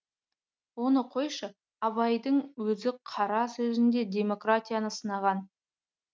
оны қойшы абайдың өзі қара сөзінде демократияны сынаған